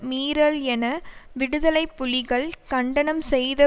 மீறல் என விடுதலை புலிகள் கண்டனம் செய்த